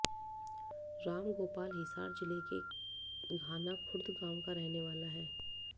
रामगोपाल हिसार जिले के घाना खुर्द गांव का रहने वाला है